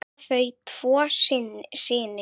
Eiga þau tvo syni.